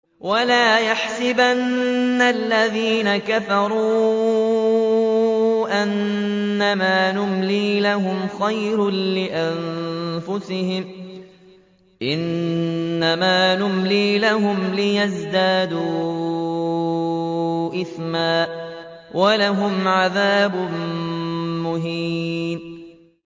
وَلَا يَحْسَبَنَّ الَّذِينَ كَفَرُوا أَنَّمَا نُمْلِي لَهُمْ خَيْرٌ لِّأَنفُسِهِمْ ۚ إِنَّمَا نُمْلِي لَهُمْ لِيَزْدَادُوا إِثْمًا ۚ وَلَهُمْ عَذَابٌ مُّهِينٌ